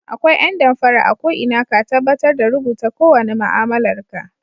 Akwai ƴan damfara a ko'ina ka tabbatar da rubuta kowane ma'amalar ka